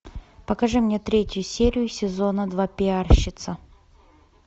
покажи мне третью серию сезона два пиарщица